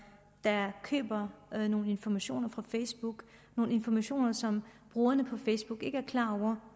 der køber nogle informationer fra facebook nogle informationer som brugerne på facebook ikke er klar over